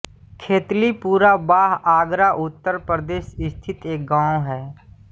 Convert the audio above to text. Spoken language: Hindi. खेतलीपुरा बाह आगरा उत्तर प्रदेश स्थित एक गाँव है